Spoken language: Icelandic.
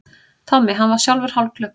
Tommi, hann var sjálfur hálfklökkur.